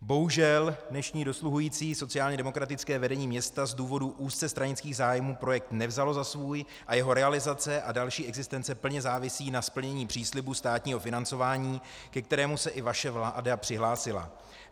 Bohužel dnešní dosluhující sociálně demokratické vedení města z důvodů úzce stranických zájmů projekt nevzalo za svůj a jeho realizace a další existence plně závisí na splnění příslibu státního financování, ke kterému se i vaše vláda přihlásila.